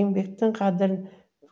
еңбектің қадірін